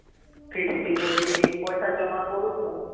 fixed deposit କି ପଇସା ଜମା କରୁଛୁ